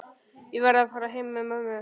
Ég verð að fara heim með mömmu.